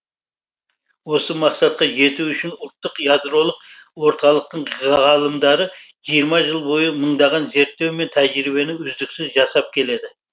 осы мақсатқа жету үшін ұлттық ядролық орталықтың ғалымдары жиырма жыл бойы мыңдаған зерттеу мен тәжірибені үздіксіз жасап келеді